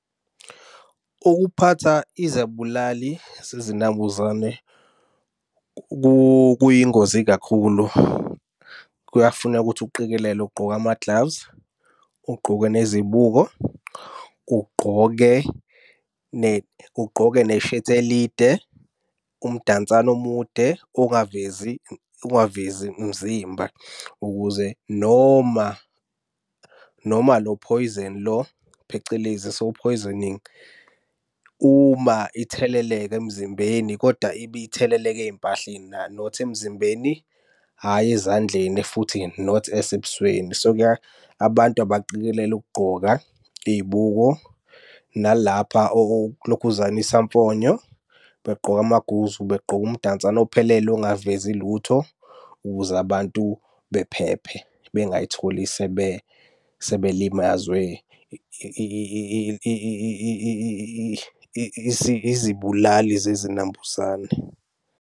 Ukuphatha izibulali zinambuzane kuyingozi kakhulu, kuyafuneka ukuthi uqikelele ugqoke ama-gloves, ugqoke nezibuko. Ugqoke ugqoke neshethi elide, umdansane omude ongavezi ungavezi umzimba ukuze noma noma lo phoyizeni lo, phecelezi . Uma itheleleka emzimbeni kodwa ibe itheleleka ey'mpahleni not emzimbeni, hhayi ezandleni futhi not esebusweni. So, abantu abaqikelele ukugqoka iybuko, nalapha okulokhuzana isamfonyo. Begqoke amaguzu, begqoke umdansane ophelele ongavezi lutho, ukuze abantu bephephe. Bengay'tholi sebe sebelimazwe izibulali zezinambuzane.